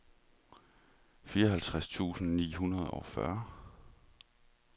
fireoghalvtreds tusind ni hundrede og fyrre